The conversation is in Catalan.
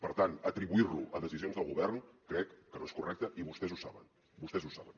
per tant atribuir lo a decisions del govern crec que no és correcte i vostès ho saben vostès ho saben